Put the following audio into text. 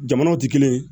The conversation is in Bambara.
Jamanaw tɛ kelen ye